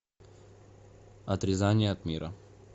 отрезание от мира